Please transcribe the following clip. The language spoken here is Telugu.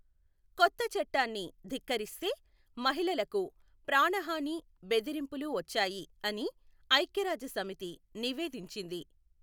కొత్త చట్టాన్ని ధిక్కరిస్తే మహిళలకు ప్రాణహాని బెదిరింపులు వచ్చాయి అని ఐక్యరాజ్యసమితి నివేదించింది.